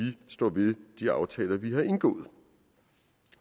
står ved de aftaler vi har indgået